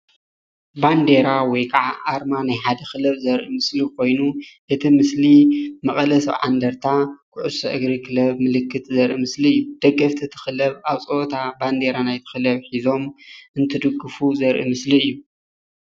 ባንዳራ ወይ ከዓ ኣርማ ናይ ሓደ ክልብ ዘርኢ ምስሊ ኮይኑ እቲ ምስሊ መቐለ 70 እንድርታ ኩዕሶ እግሪ ክለብ ምልክት ዘርኢ ምስሊ እዩ፡፡ ደገፍቲ እቲ ክለብ ኣብ ፀወታ ባንደራ ናይ እቲ ክለብ ሒዞም እንትድግፉ ዘርኢ ምስሊ እዩ፡፡